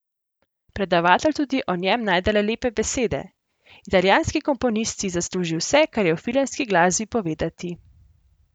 Predavatelj tudi o njem najde le lepe besede: 'Italijanski komponist si zasluži vse, kar je v filmski glasbi povedati.